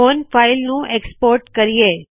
ਹੁਣ ਫਾਇਲ ਨੂੰ ਐਕਸਪੋਰਟ ਕਰਿਏ